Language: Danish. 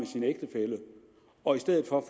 sin ægtefælle og i stedet får